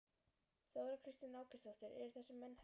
Þóra Kristín Ásgeirsdóttir: Eru þessir menn hermenn?